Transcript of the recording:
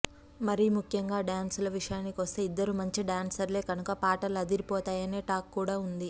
మరీ ముఖ్యంగా డ్యాన్సుల విషయానికొస్తే ఇద్దరూ మంచి డ్యాన్సర్లే కనుక పాటలు అదిరిపోతాయనే టాక్ కూడా ఉంది